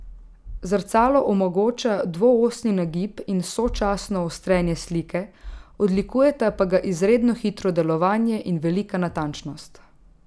Zrcalo omogoča dvoosni nagib in sočasno ostrenje slike, odlikujeta pa ga izredno hitro delovanje in velika natančnost.